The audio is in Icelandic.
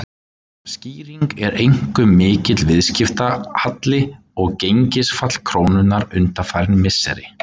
Skýringin er einkum mikill viðskiptahalli og gengisfall krónunnar undanfarin misseri.